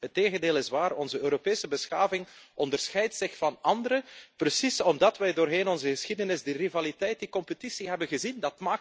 Het tegendeel is waar, onze Europese beschaving onderscheidt zich van andere, precies omdat wij door heel onze geschiedenis die rivaliteit, die concurrentie hebben gezien.